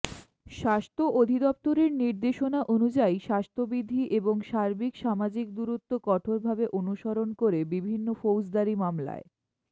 স্বাস্থ্য অধিদফতরের নির্দেশনা অনুযায়ী স্বাস্থ্যবিধি এবং সার্বিক সামাজিক দূরত্ব কঠোরভাবে অনুসরণ করে বিভিন্ন ফৌজদারি মামলায়